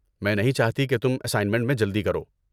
میں نہیں چاہتی کہ تم اسائنمنٹ میں جلدی کرو۔